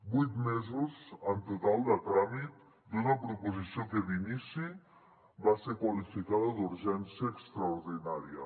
vuit mesos en total de tràmit d’una proposició que d’inici va ser qualificada d’urgència extraordinària